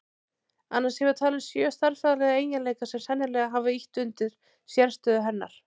Annars hefur talan sjö stærðfræðilega eiginleika sem sennilega hafa ýtt undir sérstöðu hennar.